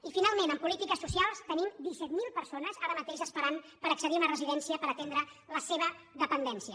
i finalment en polítiques socials tenim disset mil per·sones ara mateix esperant per accedir a una residència per atendre la seva dependència